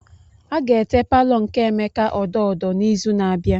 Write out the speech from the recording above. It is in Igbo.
A ga-ete palọ nke Emeka odo odo n'izu na-abịa.